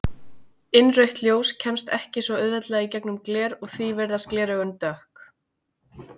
Innrautt ljós kemst ekki svo auðveldlega í gegnum gler og því virðast gleraugun dökk.